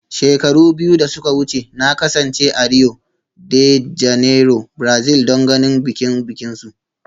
Shekaru biyu da suka wuce, na kasance a Rio de Janeiro, Brazil don ganin bikin bikinsu